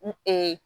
N